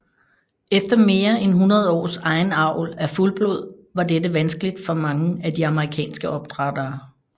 Efter mere end 100 års egen avl af fuldblod var dette vanskeligt for mange af de amerikanske opdrættere